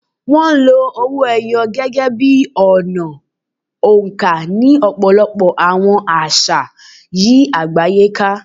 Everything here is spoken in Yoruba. Wọ́n lo owó ẹyọ gẹ́gẹ́ bí ọ̀nà oǹkà ní ọ̀pọ̀lọpọ̀ àwọn àṣà yí àgbáyé ká.